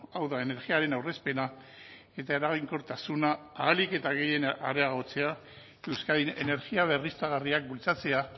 hau da energiaren aurrezpena eta eraginkortasuna ahalik eta gehien areagotzea euskadin energia berriztagarriak bultzatzea